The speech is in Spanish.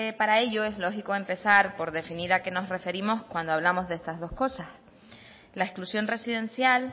para ello lo lógico es empezar por definir a qué nos referimos cuando hablamos de estas dos cosas la exclusión residencial